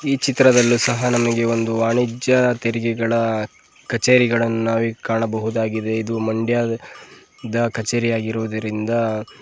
ಈ ಚಿತ್ರದಲ್ಲೂ ಸಹ ನಮಗೆ ಒಂದು ವಾಣಿಜ್ಯ ತೆರಿಗೆಗಳ ಕಚೇರಿಗಳನ್ನ ನಾವು ಈಗ್ ಕಾಣಬಹುದಾಗಿದೆ ಇದು ಮಂಡ್ಯದ ಕಚೇರಿ ಆಗಿರುವುದರಿಂದ--